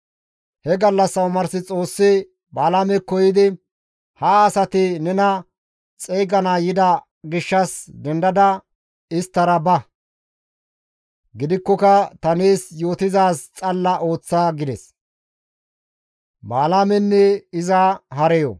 He gallassa omars Xoossi Balaamekko yiidi, «Ha asati nena xeygana yida gishshas dendada isttara ba; gidikkoka ta nees yootizaaz xalla ooththa» gides.